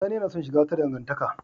Sani yana son shiga wata dangantaka.